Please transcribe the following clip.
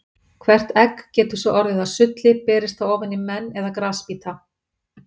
Hvert egg getur svo orðið að sulli berist það ofan í menn eða grasbíta.